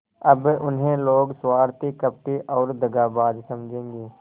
अब उन्हें लोग स्वार्थी कपटी और दगाबाज समझेंगे